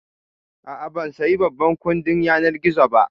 A'a, ban saya babban kuɗin yanar gizo yau ba